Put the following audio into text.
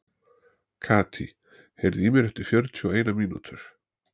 Katý, heyrðu í mér eftir fjörutíu og eina mínútur.